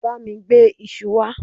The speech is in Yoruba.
bami gbe isu wa